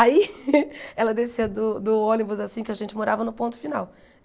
Aí ela descia do do ônibus assim que a gente morava no ponto final.